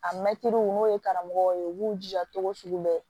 A mɛtiriw n'o ye karamɔgɔw ye u b'u jija cogo sugu bɛɛ